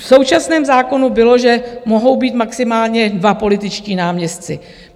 V současném zákonu bylo, že mohou být maximálně dva političtí náměstci.